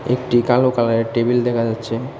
একটি কালো কালারের টেবিল দেখা যাচ্ছে।